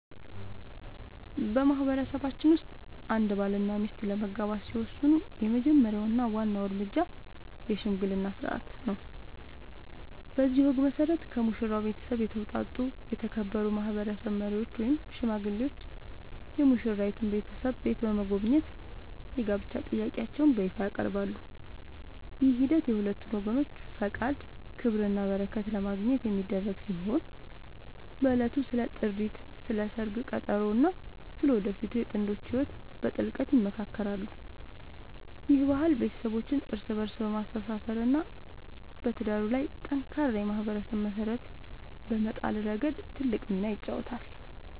በማህበረሰባችን ውስጥ አንድ ባልና ሚስት ለመጋባት ሲወስኑ የመጀመሪያው እና ዋናው እርምጃ **የሽምግልና ሥርዓት** ነው። በዚህ ወግ መሠረት፣ ከሙሽራው ቤተሰብ የተውጣጡ የተከበሩ ማህበረሰብ መሪዎች ወይም ሽማግሌዎች የሙሽራይቱን ቤተሰብ ቤት በመጎብኘት የጋብቻ ጥያቄያቸውን በይፋ ያቀርባሉ። ይህ ሂደት የሁለቱን ወገኖች ፈቃድ፣ ክብርና በረከት ለማግኘት የሚደረግ ሲሆን፣ በዕለቱም ስለ ጥሪት፣ ስለ ሰርግ ቀጠሮ እና ስለ ወደፊቱ የጥንዶቹ ህይወት በጥልቀት ይመካከራሉ። ይህ ባህል ቤተሰቦችን እርስ በእርስ በማስተሳሰር እና በትዳሩ ላይ ጠንካራ የማህበረሰብ መሰረት በመጣል ረገድ ትልቅ ሚና ይጫወታል።